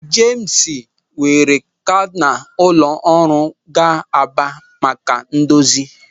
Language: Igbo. Jemis weere skana ụlọ ọrụ gaa Aba maka idozi ya.